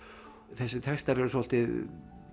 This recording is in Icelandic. þessir textar eru svolítið